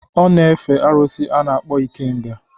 Ọ na-efe arụsị a na-akpọ ikenga.